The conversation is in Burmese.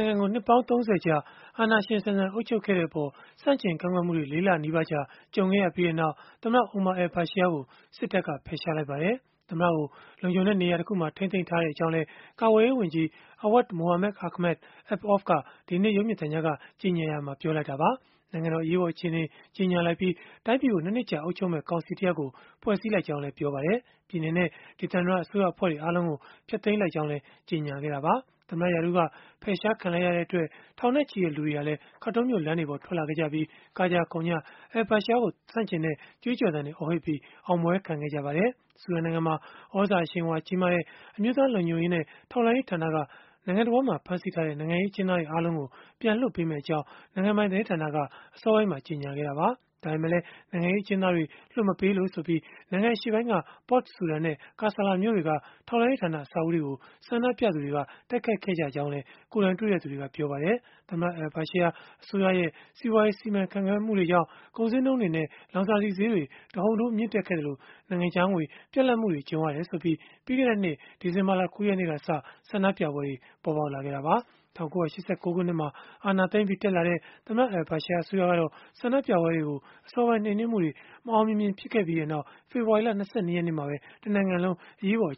ုင်ငံကို နှစ်ပေါင်း ၃၀ ကြာ အာဏာရှင်ဆန်ဆန် အုပ်ချုပ်ခဲ့တဲ့အပေါ် ဆန့်ကျင်ကန့်ကွက်မှုတွေ ၄ လနီးပါးကြာ ကြုံခဲ့ရပြီးနောက် သမ္မတ Omar al-Bashir ကို စစ်တပ်က ဖယ်ရှားလိုက်ပါတယ်။ သမ္မတကို လုံခြုံတဲ့နေရာတခုမှာ ထိန်းသိမ်းထားကြောင်းလည်း ကာကွယ်ရေးဝန်ကြီး Awad Mohamed Ahmed Ibn Auf က ဒီကနေ့ ရုပ်မြင်သံကြားကနေ ကြေညာရာမှာ ပြောဆိုလိုက်တာပါ။ နိုင်ငံတော် အရေးပေါ်အခြေအနေ ကြေညာလိုက်ပြီး၊ တိုင်းပြည်ကို ၂ နှစ်ကြာ အုပ်ချုပ်မယ့် ကောင်စီတရပ်ကို ဖွဲ့စည်းလိုက်ကြောင်းလည်း ပြောဆိုခဲ့ပါတယ်။ ပြည်နယ်နဲ့ ဒေသန္တရ အစိုးရအဖွဲ့တွေ အားလုံးကို ဖျက်သိမ်းလိုက်ကြောင်းလည်း ကြေညာခဲ့တာပါ။ သမ္မတ ရာထူးက ဖယ်ရှားခံလိုက်ရတဲ့အတွက် ထောင်နဲ့ချီတဲ့လူတွေဟာလည်း Khartoum မြို့လမ်းတွေပေါ် ထွက်လာခဲ့ကြပြီး၊ ကကြခုန်ကြ al-Bashir ကို ဆန့်ကျင်တဲ့ ကြွေးကြော်သံတွေ အော်ဟစ်ပြီး အောင်ပွဲခံခဲ့ကြပါတယ်။ ဆူဒန်နိုင်ငံမှာ သြဇာအရှိန်အဝါကြီးတဲ့ အမျိုးသားလုံခြုံရေးနဲ့ ထောက်လှမ်းရေးဌာနကတော့ နိုင်ငံတဝန်းမှာ ဖမ်းဆီးထားတဲ့ နိုင်ငံရေး အကျဉ်းသားတွေ အားလုံးကို ပြန်လွှတ်ပေးမယ့်အကြောင်း နိုင်ငံပိုင် သတင်းဌာနကနေ အစောပိုင်းမှာ ကြေညာခဲ့တာပါ။ ဒါပေမဲ့လည်း နိုင်ငံရေး အကျဉ်းသားတွေ လွှတ်မပေးလို့ဆိုပြီး နိုင်ငံအရှေ့ပိုင်းက Port Sudan နဲ့ Kasala မြို့တွေက ထောက်လှမ်းရေးဌာန အဆောက်အဦးတွေကို ဆန္ဒပြသူတွေက တိုက်ခိုက်ခဲ့ကြောင်းလည်း ကိုယ်တိုင်တွေ့သူတွေက ပြောပါတယ်။ သမ္မတ al-Bashir အစိုးရရဲ့ စီးပွားရေးစီမံခန့်ခွဲမှုတွေကြောင့် ကုန်ဈေးနှုန်းတွေနဲ့ လောင်စာဆီဈေးတွေ တဟုန်ထိုး မြင့်တက်ခဲ့သလို၊ နိုင်ငံခြားငွေ ပြတ်လပ်မှု ကြုံရတယ်ဆိုပြီး ပြီးခဲ့တဲ့နှစ် ဒီဇင်ဘာ ၉ ရက်နေ့ကစ ဆန္ဒပြပွဲတွေ ပေါ်ပေါက်ခဲ့တာပါ။ ၁၉၈၉ ခုနှစ်မှာ အာဏာသိမ်းပြီး တက်လာတဲ့ သမ္မတ al-Bashir အစိုးရကတော့ ဆန္ဒပြပွဲတွေကို အစောပိုင်း နှိမ်နင်းမှုတွေ မအောင်မမြင် ဖြစ်ခဲ့ပြီးနောက်၊ ဖေဖော်ဝါရီ ၂၂ ရက်နေ့မှာပဲ တနိုင်ငံလုံး အရေးပေါ်